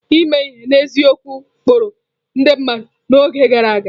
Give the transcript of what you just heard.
Ime ihe n'eziokwu kpụrụ ndị mmadụ n'oge gara aga.